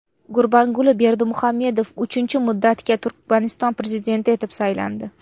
Gurbanguli Berdimuhamedov uchinchi muddatga Turkmaniston prezidenti etib saylandi.